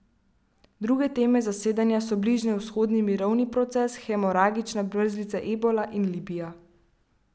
Druge teme zasedanja so bližnjevzhodni mirovni proces, hemoragična mrzlica ebola in Libija.